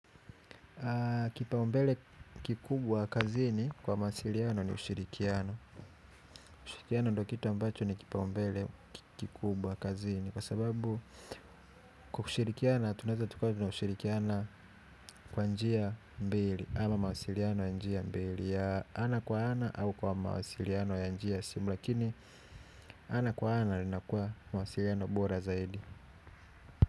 Kipaombele kikubwa kazini kwa mawasiliano ni ushirikiano ushirikiano ndo kitu ambacho ni kipaombele kazini. Kwa sababu kushirikiana tunaweza tukawa tunashirikiana kwa njia mbili ama mawasiliano ya njia mbili ana kwa ana au kwa mawasiliano ya njia simu lakini ana kwa ana linakua mawasiliano bora zaidi.